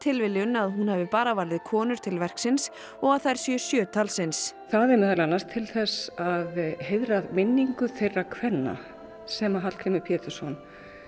tilviljun að hún hafi bara valið konur til verksins og að þær séu sjö talsins það er meðal annars til þess að heiðra minningu þeirra kvenna sem að Hallgrímur Pétursson